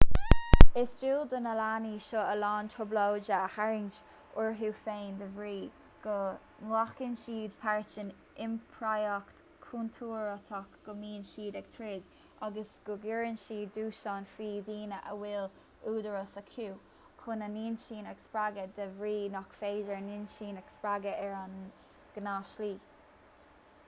is dual do na leanaí seo a lán trioblóide a tharraingt orthu féin de bhrí go nglacann siad páirt in iompraíocht chontúirteach go mbíonn siad ag troid agus go gcuireann siad dúshlán faoi dhaoine a bhfuil údarás acu chun a n-inchinn a spreagadh de bhrí nach féidir a n-inchinn a spreagadh ar an ngnáthshlí